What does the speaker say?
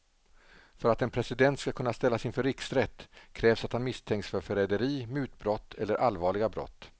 För att en president ska kunna ställas inför riksrätt krävs att han misstänks för förräderi, mutbrott eller allvarliga brott.